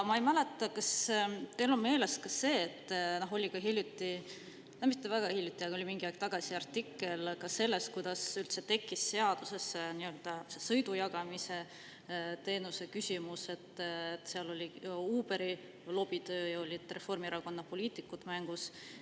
Ma ei tea, kas teil on meeles ka see, et hiljuti – no mitte hiljuti, aga mingi aeg tagasi – oli artikkel sellest, kuidas üldse tekkis seadusesse sõidujagamise teenuse küsimus, seal oli Uberi lobitöö ja olid Reformierakonna poliitikud mängus.